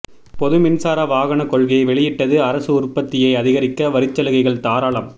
பொது மின்சார வாகன கொள்கையை வெளியிட்டது அரசு உற்பத்தியை அதிகரிக்க வரிச் சலுகைகள் தாராளம்